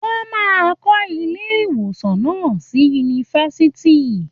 Wọ́n máa ń kọ́ ilé-ìwòsàn náà sí yunifásitì.